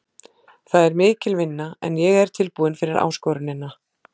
Það er mikil vinna en ég er tilbúinn fyrir áskorunina.